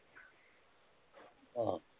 ਆਹੋ